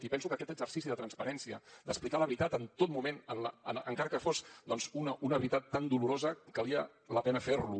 i penso que aquest exercici de transparència d’explicar la veritat en tot moment encara que fos doncs una veritat tan dolorosa valia la pena fer lo